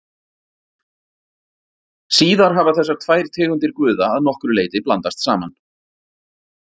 síðar hafa þessar tvær tegundir guða að nokkru leyti blandast saman